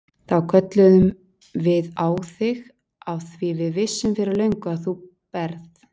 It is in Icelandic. Þá kölluðum við á þig af því við vissum fyrir löngu að þú berð